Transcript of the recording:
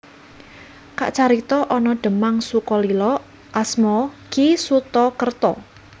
Kacarita ana Demang Sukolilo asma Ki Suta Kerta